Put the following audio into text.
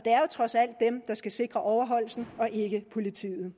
trods alt dem der skal sikre overholdelsen og ikke politiet